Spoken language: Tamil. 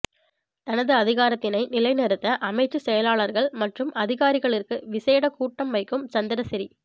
தனது அதிகாரத்தினை நிலை நிறுத்த அமைச்சு செயலாளர்கள் மற்றும் அதிகாரிகளிற்கு விசேட கூட்டம் வைக்கும் சந்திரசிறி